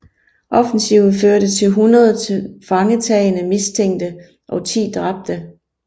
Offensiven førte til 100 tilfangetagne mistænkte og 10 dræbte